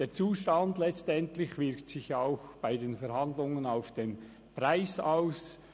Der Zustand wirkt sich letztlich auch bei den Verhandlungen auf den Preis aus.